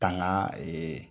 Tanga ee